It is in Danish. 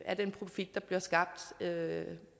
af den profit der bliver skabt inden